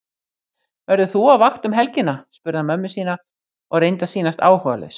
Verður þú á vakt um helgina? spurði hann mömmu sína og reyndi að sýnast áhugalaus.